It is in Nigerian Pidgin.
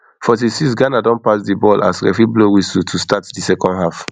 forty-sixghana don pass di ball as referee blow whistle to start di second half